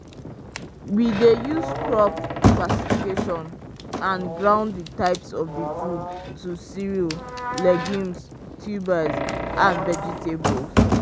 we dey use crop classification and ground the types of the food to cereals legumes tubers and vegetables